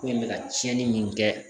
Ko in bɛ ka tiɲɛni min kɛ